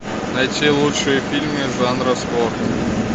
найти лучшие фильмы жанра спорт